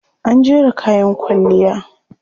An jera kayan kwalliya.